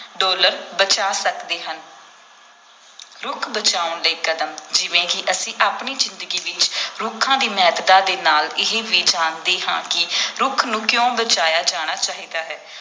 dollar ਬਚਾ ਸਕਦੇ ਹਨ ਰੁੱਖ ਬਚਾਉਣ ਦੇ ਕਦਮ ਜਿਵੇਂ ਕਿ ਅਸੀਂ ਆਪਣੀ ਜ਼ਿੰਦਗੀ ਵਿੱਚ ਰੁੱਖਾਂ ਦੀ ਮਹੱਤਤਾ ਦੇ ਨਾਲ ਇਹ ਵੀ ਜਾਣਦੇ ਹਾਂ ਕਿ ਰੁੱਖ ਨੂੰ ਕਿਉਂ ਬਚਾਇਆ ਜਾਣਾ ਚਾਹੀਦਾ ਹੈ